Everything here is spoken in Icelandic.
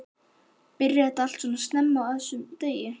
Hödd: Byrjar þetta alltaf svona snemma á þessum degi?